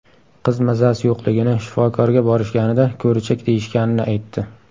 Qiz mazasi yo‘qligini, shifokorga borishganida, ko‘richak deyishganini aytdi.